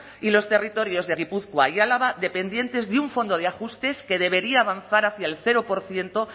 y los territorios de gipuzkoa y álava dependientes de un fondo de ajustes que debería avanzar hacia el cero por ciento